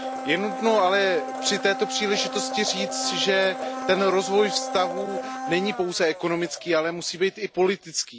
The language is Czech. Je nutno ale při této příležitosti říct, že ten rozvoj vztahů není pouze ekonomický, ale musí být i politický.